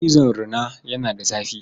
Cizon rina yana da zafi.